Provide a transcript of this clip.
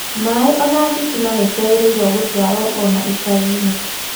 Maĩ na thitima nĩ ciagĩrĩirũo gũtwarũo o na icagi-inĩ.